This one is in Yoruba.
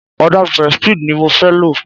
Ọdà prestige ni mo fẹ́ lo.